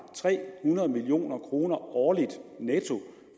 tre hundrede million kroner årligt netto